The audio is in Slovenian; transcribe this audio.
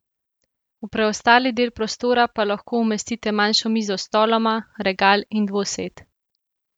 Je igra za obstanek monstruoznega.